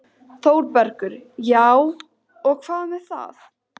ÞÓRBERGUR: Já, og hvað með það?